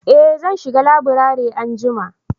eh zan shiga laburare anjima